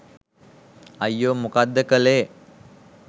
අයියෝ මොකක්ද කලේ